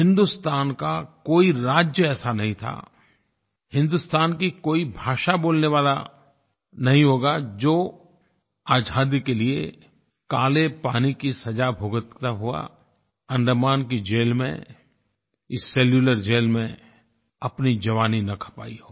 हिन्दुस्तान का कोई राज्य ऐसा नहीं था हिन्दुस्तान की कोई भाषा बोलने वाला नहीं होगा जो आज़ादी के लिए काले पानी की सजा भुगतता हुआ अंडमान की जेल में इस सेलुलर जेल में अपनी जवानी न खपाई हो